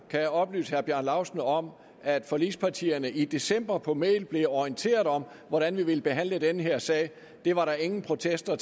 kan jeg oplyse herre bjarne laustsen om at forligspartierne i december på mail blev orienteret om hvordan vi ville behandle den her sag det var der ingen protester